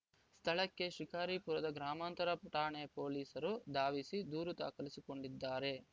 ಸ್ಥಳಕ್ಕೆ ಶಿಕಾರಿಪುರದ ಗ್ರಾಮಾಂತರ ಠಾಣೆ ಪೊಲೀಸರು ಧಾವಿಸಿ ದೂರು ದಾಖಲಿಸಿಕೊಂಡಿದ್ದಾರೆ